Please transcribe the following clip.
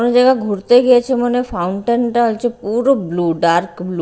এমন জায়গায় ঘুরতে গিয়েছে মনে হয় ফাউন্টেন -টা হচ্ছে পুরো ব্লু ডার্ক ব্লু ।